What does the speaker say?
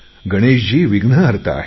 गणेशजी विघ्नहर्ता आहेत